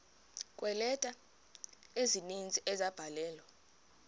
kweeleta ezininzi ezabhalelwa